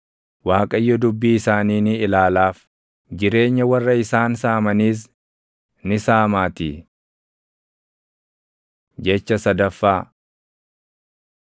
Waaqayyo dubbii isaanii ni ilaalaaf; jireenya warra isaan saamaniis ni saamaatii. Jecha sadaffaa